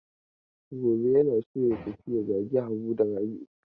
Gobe yana so ya tafi ya zage Habu da Rabi'u.